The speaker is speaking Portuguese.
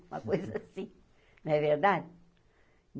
Uma coisa assim, não é verdade?